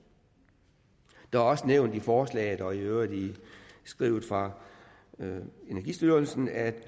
der er også nævnt i forslaget og i øvrigt i skrivelse fra energistyrelsen at